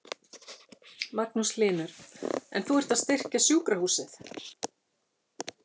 Magnús Hlynur: En þú ert að styrkja sjúkrahúsið?